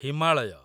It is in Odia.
ହିମାଳୟ